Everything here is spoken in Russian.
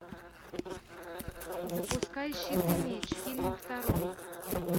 запускай щит и меч фильм второй